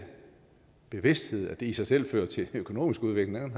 bevidsthed i sig selv fører til økonomisk udvikling